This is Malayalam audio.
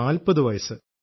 40 വയസ്സ്